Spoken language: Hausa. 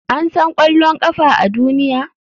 An san ƙwallon ƙafa a duniya?